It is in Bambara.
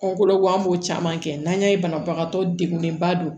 Kɔnɔgo an b'o caman kɛ n'an y'a ye banabagatɔ degunnenba don